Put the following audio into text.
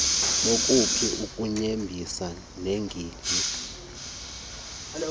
kobuphi ubutyebi neengingqi